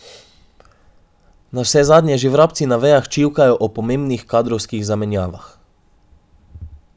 Navsezadnje že vrabci na vejah čivkajo o pomembnih kadrovskih zamenjavah.